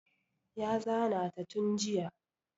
Ya zana ta tun jiya